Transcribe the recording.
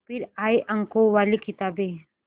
फिर आई अंकों वाली किताबें